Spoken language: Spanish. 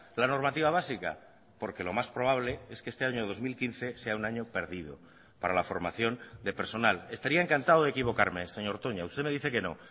la normativa básica porque lo más probable es que este año dos mil quince sea un año perdido para la formación de personal estaría encantado de equivocarme señor toña usted me dice que no